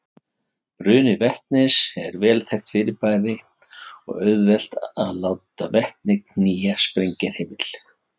Bruni vetnis er vel þekkt fyrirbæri og auðvelt er að láta vetni knýja sprengihreyfil.